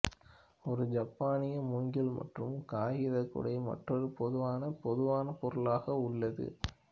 ஒரு ஜப்பானிய மூங்கில் மற்றும் காகித குடை மற்றொரு பொதுவான பொதுவான பொருளாக உள்ளது